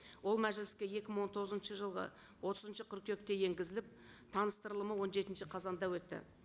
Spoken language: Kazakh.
ол мәжіліске екі мың он тоғызыншы жылғы отызыншы қыркүйекте енгізіліп таныстырылымы он жетінші қазанда өтті